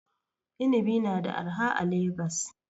Inibi na da arha a Legas.